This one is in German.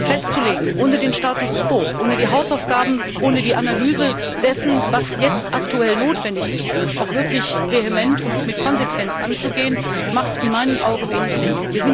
Nur, Ziele festzulegen, ohne den Status quo, ohne die Hausaufgaben, ohne die Analyse dessen, was jetzt aktuell notwendig ist, auch wirklich vehement und mit Konsequenz anzugehen, macht in meinen Augen wenig Sinn.